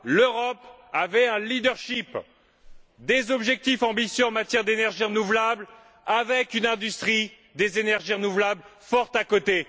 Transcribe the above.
L'Europe avait un leadership, des objectifs ambitieux en matière d'énergie renouvelable, avec une industrie des énergies renouvelables forte à ses côtés.